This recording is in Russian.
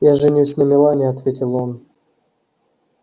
я женюсь на мелани ответил он